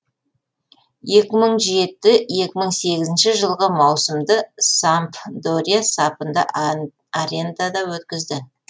екі мың жеті екі мың сегізінші жылғы маусымды сампдория сапында арендада өткізді